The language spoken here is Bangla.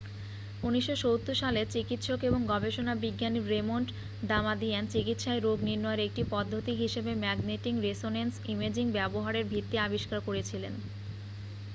1970 সালে চিকিৎসক এবং গবেষণা বিজ্ঞানী রেমন্ড দামাদিয়ান চিকিৎসায় রোগ নির্ণয়ের একটি পদ্ধতি হিসাবে ম্যাগনেটিং রেসোনেন্স ইমেজিং ব্যবহারের ভিত্তি আবিষ্কার করেছিলেন